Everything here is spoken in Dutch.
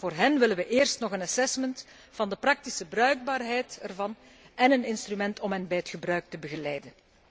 Voor hen willen wij eerst nog een assessment van de praktische bruikbaarheid ervan en een instrument om hen bij het gebruik te begeleiden.